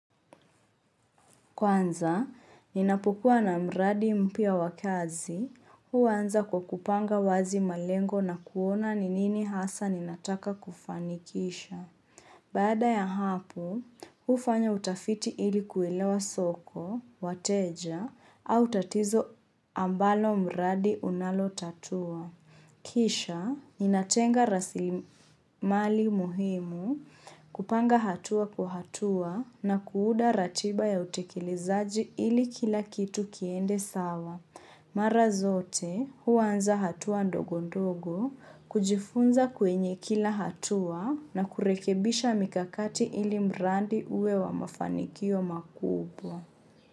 Kwanza, ninapokua na mradi mpya wa kazi, huwanza kwa kupanga wazi malengo na kuona ni nini hasa ninataka kufanikisha. Baada ya hapo, hufanya utafiti ili kuelewa soko, wateja, au tatizo ambalo mradi unalotatua. Kisha, ninatenga rasili mali muhimu kupanga hatua kwa hatua na kuuda ratiba ya utekelezaji ili kila kitu kiende sawa. Mara zote, huwanza hatua ndogo ndogo, kujifunza kwenye kila hatua na kurekebisha mikakati ili mrandi uwe wa mafanikio makubwa.